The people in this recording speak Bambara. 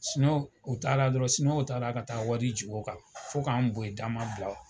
Siniwaw u taara dɔrɔnw Siniwaw taara ka taa wari jigin u kan fo ka an bɔ yen da ma bila